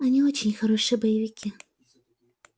они очень хорошие боевики